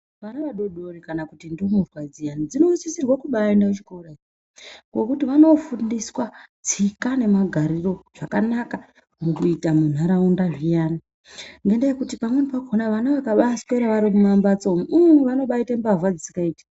Vana vadodori kana kuti ndumurwa dziya dzinosisirwe kubaaende kuchikora nhokuti vanofundiswa tsika nemagariro zvakanaka mukuita munharaunda zviyani ngekuti pamweni pakhona vana vakabaaswera vari mumamhatso umu ii vanobaite mbavha dzisikaiti.